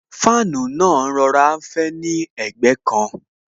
Fáànù náà ń rọra fẹ́ ni ẹ̀gbẹ́ kan